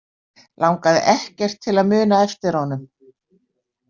Langaði ekkert til að muna eftir honum.